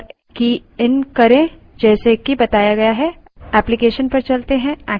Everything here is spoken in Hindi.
चलिए एक file बनाते हैं और की इन करें जैसे कि बताया गया है